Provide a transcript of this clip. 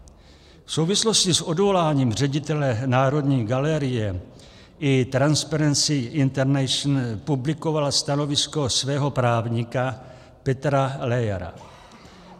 V souvislosti s odvoláním ředitele Národní galerie i Transparency International publikovala stanovisko svého právníka Petra Leyera.